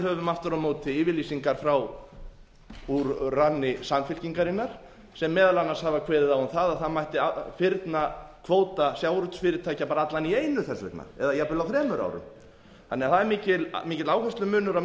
höfum aftur á móti yfirlýsingar úr ranni samfylkingarinnar sem meðal annars hafa kveðið á um að það mætti fyrna kvóta sjávarútvegsfyrirtækja bara allan í einu þess vegna eða jafnvel á þremur árum það er því mikill áherslumunur á